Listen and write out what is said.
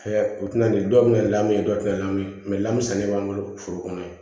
o tɛna ni dɔw bɛ na lamɛn dɔw tɛ na lamɛn lamu sɛnɛ b'an bolo foro kɔnɔ yen